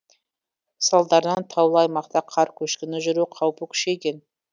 салдарынан таулы аймақта қар көшкіні жүру қаупі күшейген